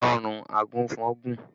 Ọrùn àgùnfọn gùn